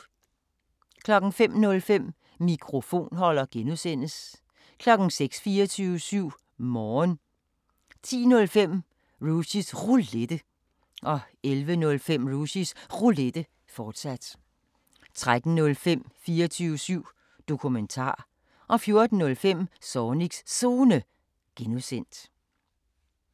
05:05: Mikrofonholder (G) 06:00: 24syv Morgen 10:05: Rushys Roulette 11:05: Rushys Roulette, fortsat 13:05: 24syv Dokumentar 14:05: Zornigs Zone (G)